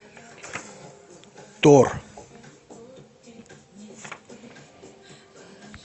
тор